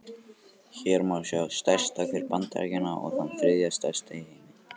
Hér má sjá stærsta hver Bandaríkjanna, og þann þriðja stærsta í heimi.